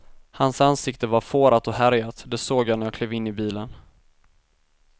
Hans ansikte var fårat och härjat, det såg jag när jag klev in i bilen.